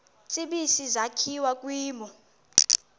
tsibizi sakhiwa kwimo